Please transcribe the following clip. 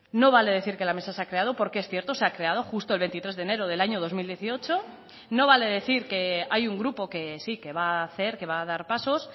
no vale decir que la mesa se ha creado porque es cierto se ha creado justo el veintitrés de enero del año dos mil dieciocho no vale decir que hay un grupo que sí que va a hacer que va a dar pasos